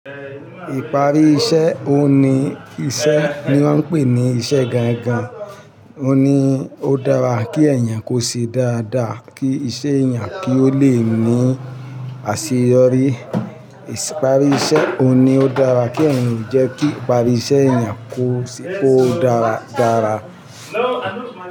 Ìparí iṣẹ́ òun ní iṣẹ́ ni wón ń pè ní iṣẹ́ gangan. Ó ní ó dára kí èèyàn kó ṣe dáadáa kí iṣẹ́ èèyàn kí ó le ní àṣeyọrí. Isi Ìparí iṣẹ́ òun ni ó dára kí ẹ̀èyàn jẹ́ kí ìparí iṣẹ́ èèyàn kó dára dára.